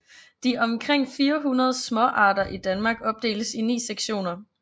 De omkring 400 småarter i Danmark opdeles i 9 sektioner